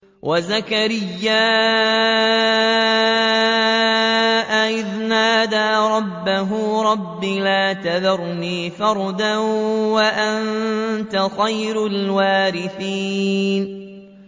وَزَكَرِيَّا إِذْ نَادَىٰ رَبَّهُ رَبِّ لَا تَذَرْنِي فَرْدًا وَأَنتَ خَيْرُ الْوَارِثِينَ